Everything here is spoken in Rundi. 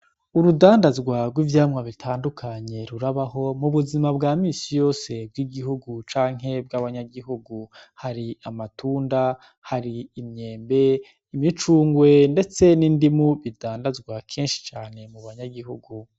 Urudandazwarw'ivyamwa bitandukanye rurabaho mu buzima bwamisi yose bw'igihugu canke bw'abanyagihugu hari amatunda hari inyembe imicungwe, ndetse nindimu bidandazwa kenshi cane mu banyagihugu.